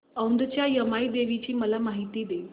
औंधच्या यमाई देवीची मला माहिती दे